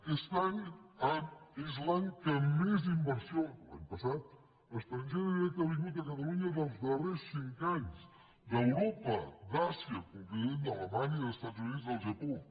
aquest any és l’any que més inversió l’any passat estrangera directa ha vingut a catalunya dels darrers cinc anys d’europa d’àsia concretament d’alemanya dels estats units del japó